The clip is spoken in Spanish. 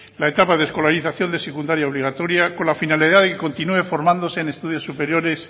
la etapa de escolarización de secundaria obligatoria con la finalidad de que continúen formándose en estudios superiores